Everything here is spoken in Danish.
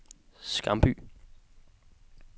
Skamby